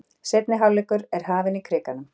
Seinni hálfleikur er hafinn í Krikanum